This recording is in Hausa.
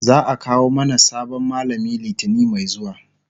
za'a kawo mana sabon mallami litani Mai zuwa